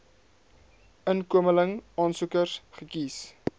inkomeling aansoekers gekies